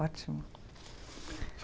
Ótimo.